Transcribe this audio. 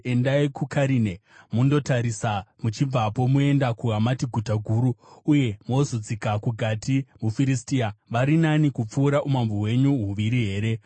Endai kuKarine mundoritarisa; muchibvapo moenda kuHamati guta guru, uye mozodzika kuGati muFiristia. Vari nani kupfuura umambo hwenyu huviri here?